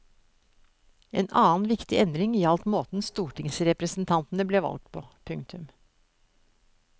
En annen viktig endring gjaldt måten stortingsrepresentantene ble valgt på. punktum